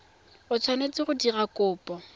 o tshwanetse go dira kopo